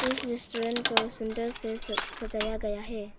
इस रेस्टोरेंट को सुंदर से सजाया गया है।